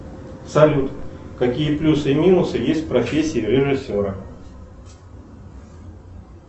салют какие плюсы и минусы есть в профессии режиссера